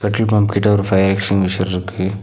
Petrol பம்ப்கிட்ட ஒரு fire extinguisher இருக்கு.